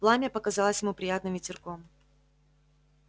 пламя показалось ему приятным ветерком